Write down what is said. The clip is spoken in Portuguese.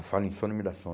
Eu falo em sono e me dá